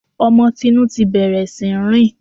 Ọmọ Tinú ti bẹ̀rẹ̀ sí í rìn